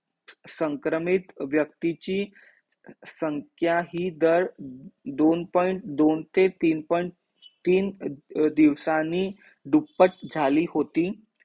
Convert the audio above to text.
संक्रमित व्यक्तीची संख्या हि दर दोन point दोन ते तीन point तीन दिवसांनी दुप्पट झाली होती